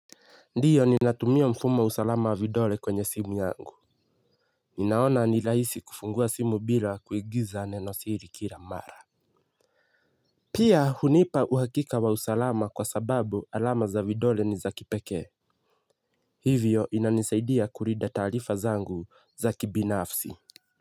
Ndiyo ninatumia mfumo wa usalama wa vidole kwenye simu yangu. Ninaona ni rahisi kufungua simu bila kuingiza neno siri kila mara. Pia hunipa uhakika wa usalama kwa sababu alama za vidole ni za kipekee. Hivyo inanisaidia kulinda taarifa zangu za kibinafsi.